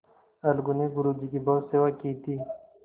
अलगू ने गुरु जी की बहुत सेवा की थी